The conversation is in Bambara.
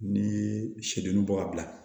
Ni sɛ dennin bɔ ka bila